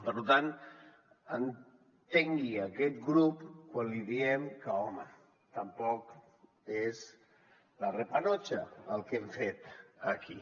per tant entengui aquest grup quan li diem que home tampoc és la repanocha el que hem fet aquí